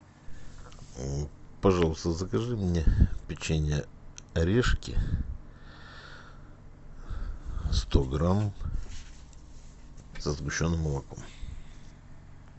пожалуйста закажи мне печенье орешки сто грамм со сгущенным молоком